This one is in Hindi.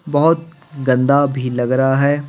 बहुत गंदा भी लग रहा है।